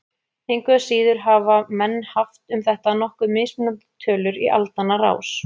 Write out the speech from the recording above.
Engu að síður hafa menn haft um þetta nokkuð mismunandi tölur í aldanna rás.